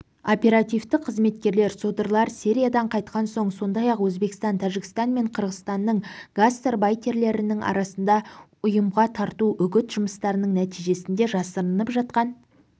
оперативтік қызметкерлер содырлар сириядан қайтқан соң сондай-ақ өзбекстан тәжікстан мен қырғызстанның гастарбайтерлерінің арасында ұйымға тарту үгіт жұмыстарының нәтижесінде жасырынып жатқан